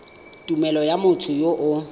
tumelelo ya motho yo o